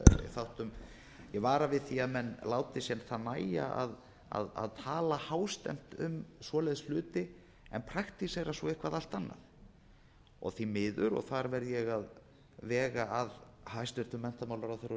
þáttum ég vara við því að menn láti sér það nægja að tala hástemmt um slíka hluti en praktísera svo eitthvað allt annað því miður og þar verð ég að vega að hæstvirtur menntamálaráðherra og